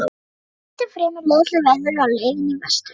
Við hrepptum fremur leiðinlegt veður á leiðinni vestur.